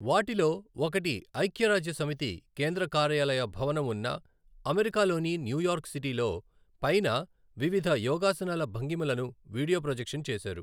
వాటిలో ఒకటి ఐక్య రాజ్య సమితి కేంద్ర కార్యాలయ భవనం ఉన్న అమెరికాలోని న్యూయార్క్ సిటీలో పైన వివిధ యోగాసనాల భంగిమలను వీడియో ప్రొజెక్షన్ చేశారు.